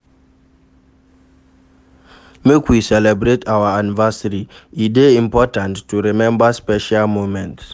Make we celebrate our anniversary, e dey important to rememba special moments.